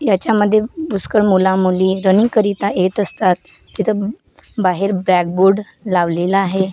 याच्यामध्ये पुष्कळ मुलामुली रनिंग करिता येत असतात तिथं बाहेर ब्लॅकबोर्ड लावलेला आहे .